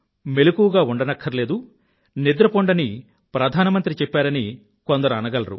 మెలకువగా ఉండక్కర్లేదు నిద్రపొండని ప్రధానమంత్రి చెప్పారని కొందరు అనగలరు